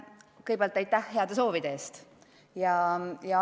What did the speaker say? Kõigepealt aitäh heade soovide eest!